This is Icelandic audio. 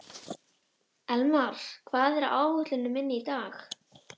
Elmar, hvað er á áætluninni minni í dag?